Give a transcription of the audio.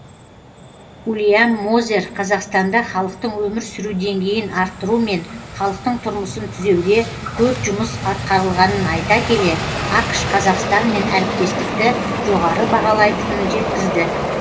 уильям мозер қазақстанда халықтың өмір сүру деңгейін арттыру мен халықтың тұрмысын түзеуде көп жұмыс атқарылғанын айта келе ақш қазақстанмен әріптестікті жоғары бағалайтынын жеткізді